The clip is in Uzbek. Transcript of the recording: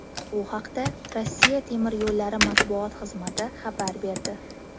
Bu haqda Rossiya temir yo‘llari matbuot xizmati xabar berdi .